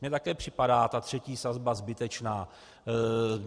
Mně také připadá ta třetí sazba zbytečná.